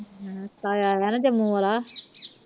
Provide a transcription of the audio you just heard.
ਤਾਇਆ ਆਇਆ ਨਾ ਜੰਮੂ ਵਾਲਾ